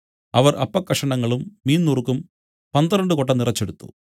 അവർ അപ്പക്കഷണങ്ങളും മീൻനുറുക്കും പന്ത്രണ്ട് കൊട്ട നിറച്ചെടുത്തു